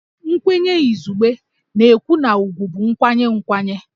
Nkwenye izugbe na-ekwu na ugwù bụ nkwanye nkwanye